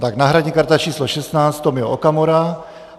Tak náhradní karta číslo 16 Tomio Okamura.